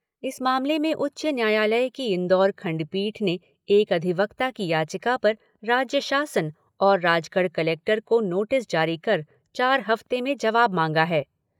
इस मामले में उच्च न्यायालय की इंदौर खंडपीठ ने एक अधिवक्ता की याचिका पर राज्य शासन और राजगढ़ कलेक्टर को नोटिस जारी कर चार हफ्ते में जवाब मांगा है।